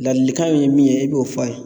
Ladilikan ye min ye e b'o f'a ye.